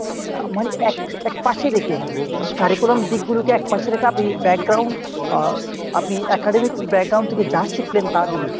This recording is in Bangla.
মানে এক এক পাশে রেখে। curriculum দিকগুলোকে এক পাশে রেখে আপনি আহ আপনি academic থেকে যা শিখলেন তা দিয়ে।